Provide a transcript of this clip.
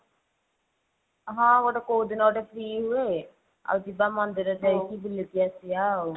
ହଁ ଗୋଟେ କଉଦିନ ଗୋଟେ free ହୁଏ ଆଉ ଯିବା ମନ୍ଦିର ଯାଇକି ବୁଲିକି ଆସିବା ଆଉ।